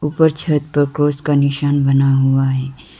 ऊपर छत पर क्रॉस का निशान बना हुआ है।